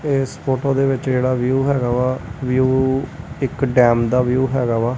ਇਸ ਫੋਟੋ ਦੇ ਵਿੱਚ ਜਿਹੜਾ ਵਿਊ ਹੈਗਾ ਵਾ ਵਿਊ ਇੱਕ ਡੈਮ ਦਾ ਵਿਊ ਹੈਗਾ ਵਾ।